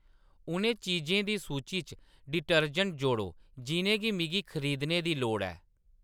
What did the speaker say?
उ'नें चीजें दी सूची च डिटर्जेंट जोड़ो जिʼनेंगी मिगी खरीदने दी लोड़ ऐ